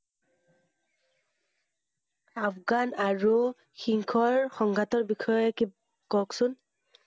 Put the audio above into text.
আফগান আৰু সিংহৰ সংঘাটৰ বিষয়ে কওকচোন।